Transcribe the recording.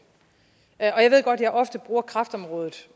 og jeg ved godt at jeg ofte bruger kræftområdet